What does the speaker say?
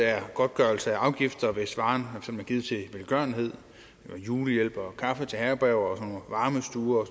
er godtgørelse af afgifter hvis varen er givet til velgørenhed julehjælp kaffe til herberger varmestuer og